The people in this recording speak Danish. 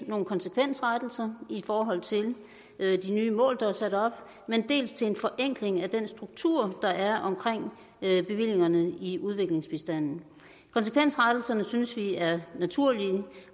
nogle konsekvensrettelser i forhold til de nye mål der er sat op dels til en forenkling af den struktur der er omkring bevillingerne i udviklingsbistanden konsekvensrettelserne synes vi er naturlige